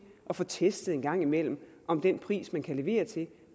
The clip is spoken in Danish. at få testet en gang imellem om den pris man kan levere til